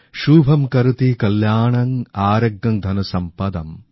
শুভম্ করোতি কল্যাণং আরোগ্যং ধনসম্পদাম